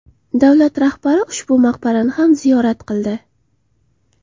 Davlat rahbari ushbu maqbarani ham ziyorat qildi.